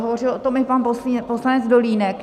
Hovořil o tom i pan poslanec Dolínek.